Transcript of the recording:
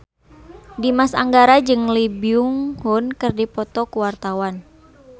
Dimas Anggara jeung Lee Byung Hun keur dipoto ku wartawan